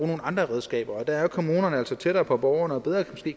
nogle andre redskaber og der er kommunerne altså tættere på borgerne og